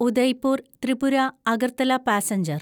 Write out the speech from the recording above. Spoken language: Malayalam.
ഉദയ്പൂർ ത്രിപുര അഗർത്തല പാസഞ്ചർ